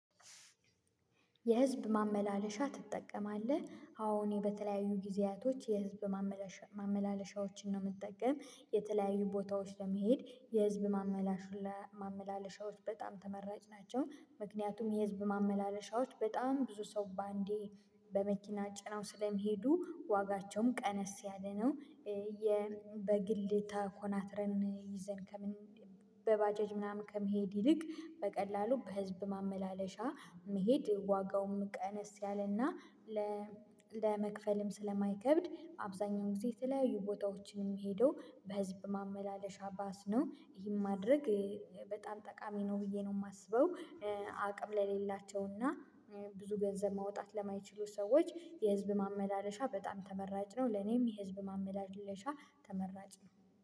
የህዝብ ማመላለሻ ትጠቀማለህ? አሁን በተለያዩ ጊዜያቶች የህዝብ ማመላለሻ ማመላለሻዎችን ነው የምትጠቀም የተለያዩ ቦታዎች ለመሄድ የህዝብ ማመላለሻዎች በጣም ተመራጭ ናቸው ምክንያቱም የህዝብ ማመላለሻዎች በጣም ብዙ ሰው በአንዴ በመኪና ጭናው ስለሚሄዱ ዋጋቸውም ቀነስ ያለ ነው፣ በግል ተኮናትረን ይዘን ከምንሄድ በባጀጅ ምናምን ከመሄድ ይልቅ በቀላሉ በህዝብ ማመላለሻ መሄድ ዋጋውም ቀነስ ያለና ለመክፈልም ስለማይከብድ አብዛኛው ጊዜ የተለያዩ ቦታዎችም የምሄደው በህዝብ ማመላለሻ ባስ ነው ይሄን ማድረግ በጣም ጠቃሚ ነው ብዬ ነው የማስበው፤ አቅም ለሌላቸው እና ብዙ ገንዘብ ማውጣት ለማይችሉ ሰዎች የህዝብ ማመላለሻ በጣም ተመራጭ ነው ለኔም የህዝብ ማመላለሻ ተመራጭ ነው።